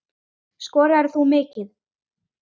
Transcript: Skoraðir þú mikið?